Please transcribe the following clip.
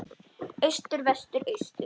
Austur Vestur Austur